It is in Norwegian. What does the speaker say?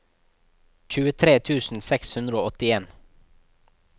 tjuetre tusen seks hundre og åttien